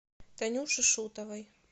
танюше шутовой